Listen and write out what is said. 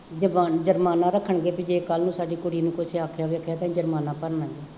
ਜੇ ਜੁਰਮਾਨਾ ਰੱਖ਼ਣਗੇ ਬਈ ਜੇ ਕੱਲ੍ਹ ਨੂੰ ਸਾਡੀ ਕੁੜੀ ਨੂੰ ਕੁੱਝ ਆਖਿਆ ਤਾਂ special ਜੁਰਮਾਨਾ ਭਰਨਾ ਪਊ